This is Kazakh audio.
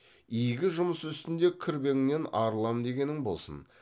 игі жұмыс үстінде кірбеңнен арылам дегенің болсын